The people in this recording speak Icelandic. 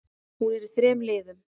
Hún er í þremur liðum.